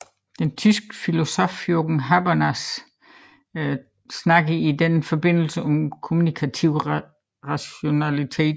Den tyske filosof Jürgen Habermas taler i denne forbindelse om kommunikativ rationalitet